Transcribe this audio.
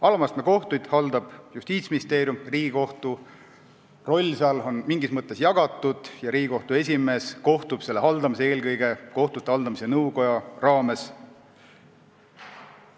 Alamastme kohtuid haldab Justiitsministeerium, Riigikohtu roll seal on mingis mõttes jagatud ja Riigikohtu esimees kohtub selle haldamisega eelkõige kohtute haldamise nõukoja raames.